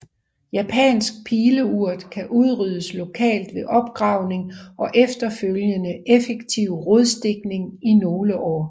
Japansk Pileurt kan udryddes lokalt ved opgravning og efterfølgende effektiv rodstikning i nogle år